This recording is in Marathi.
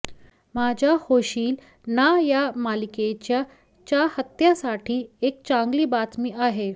माझा होशील ना या मालिकेच्या चाहत्यांसाठी एक चांगली बातमी आहे